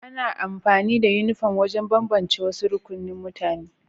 Ana amfani da Uniform wajen bambance wasu rukunin mutane